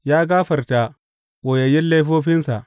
Ya gafarta ɓoyayyun laifofinsa.